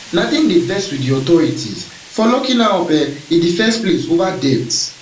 nadine dey vex wit di authorities for locking her up um in di first place over debt